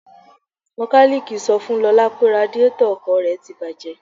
Mekaniiki sọ fún Lọ́la pé radíetọ̀ ọkọ̀ rẹ́ ti bàjé.